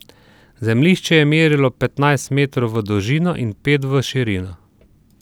Zemljišče je merilo petnajst metrov v dolžino in pet v širino.